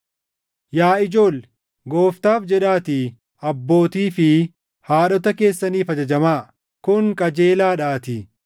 Yaa ijoolle, Gooftaaf jedhaatii abbootii fi haadhota keessaniif ajajamaa; kun qajeelaadhaatii.